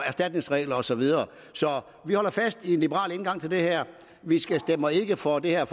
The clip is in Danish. erstatningsregler og så videre så vi holder fast i en liberal indgang til det her vi stemmer ikke for det her